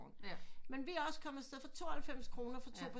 Men vi er også kommet afsted for 92 kroner for to personer